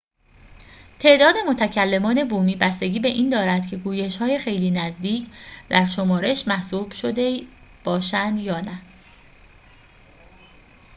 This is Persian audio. تعداد متکلمان بومی بستگی به این دارد که گویش‌های خیلی نزدیک در شمارش محسوب شده باشند یا نه